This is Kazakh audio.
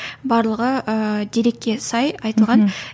барлығы ыыы дерекке сай айтылған